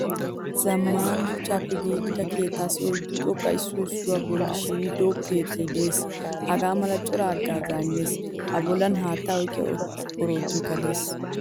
Zammaana shuchchappe giigida keettassi oyddu xoqqa issuwaa issuwaa bolli shiihiido keettay de'ees. Hagaamala cora hagaazza immees. A bollan haattaa oyqqiya oroottoykka de'ees.